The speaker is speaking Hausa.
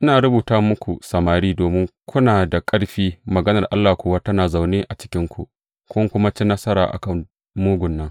Ina rubuta muku, samari, domin kuna da ƙarfi, maganar Allah kuwa tana zaune a cikinku, kun kuma ci nasara a kan mugun nan.